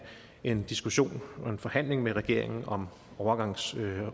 en diskussion og en forhandling med regeringen om overgangsordningen